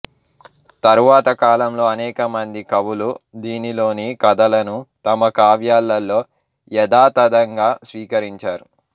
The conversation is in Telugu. తరువాతకాలంలో అనేక మంది కవులు దీనిలోని కథలను తమ కావ్యాలలో యథాతథంగా స్వీకరించారు